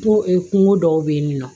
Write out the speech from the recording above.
Ko kungo dɔw be yen ni nɔ